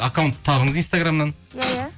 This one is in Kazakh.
аккаунт табыңыз инстаграмнан